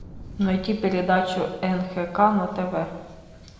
найти передачу нхк на тв